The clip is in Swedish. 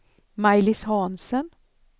Maj-Lis Hansen